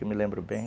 Eu me lembro bem.